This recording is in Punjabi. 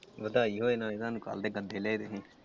ਵਧਾਈ ਹੋਵੇ ਨਾਲੇ ਤੁਹਾਨੂੰ ਕੱਲ ਦੇ .